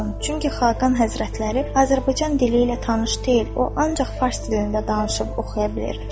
Çünki Xaqan Həzrətləri Azərbaycan dili ilə tanış deyil, o ancaq fars dilində danışıb oxuya bilir.